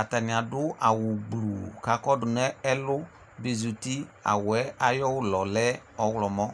Atanɩ adʋ awʋ gbluu k'akɔ dʋ n'ɛlʋ bezi uti Awʋ yɛ ayʋ ɔʋlɔ lɛ ɔɣlɔmɔ